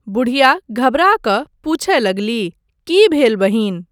बुढ़िया घबड़ा कऽ पुछय लगलीह, की भेल बहिन?